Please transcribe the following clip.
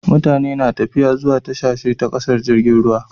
Mutane na tafiya zuwa ƙasashe ta tashar jirgin ruwa